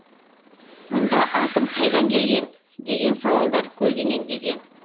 мұнда атом қайдан келген деген сауалдар көлденеңдеген